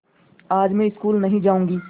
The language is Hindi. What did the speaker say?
आज मैं स्कूल नहीं जाऊँगी